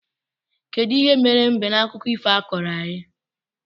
Kedụ ihe mere mbe na akụkọ ifo a i koro anyị?